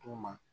Toma